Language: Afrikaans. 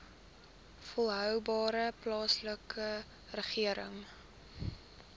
volhoubare plaaslike regering